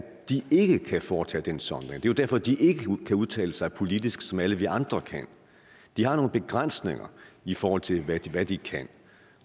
de ikke kan foretage den sondring det er derfor de ikke kan udtale sig politisk som alle vi andre kan de har nogle begrænsninger i forhold til hvad de kan